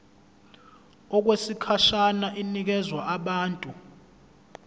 okwesikhashana inikezwa abantu